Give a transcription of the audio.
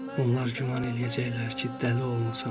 Onlar güman eləyəcəklər ki, dəli olmusan.